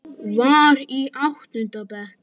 Var í áttunda bekk.